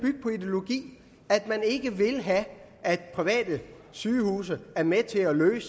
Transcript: ideologi at man ikke vil have at private sygehuse er med til at løse